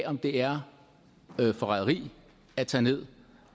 om det er forræderi at tage ned